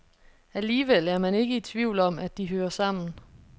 Alligevel er man ikke i tvivl om, at de hører sammen.